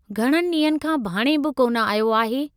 घणनि ॾींहनि खां भाणें बि कोन आयो आहे।